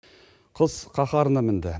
қыс қаһарына мінді